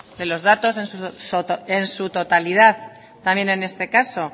de los datos en su totalidad también en este caso